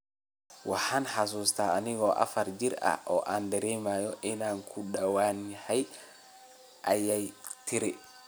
Waxaan xusuustaa anigoo afar jir ah oo aan dareemay inaan ka duwanahay, ayay tiri.